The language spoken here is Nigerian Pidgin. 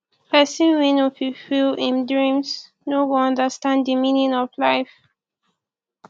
pesin wey no fulfill im dreams no go understand di meaning of life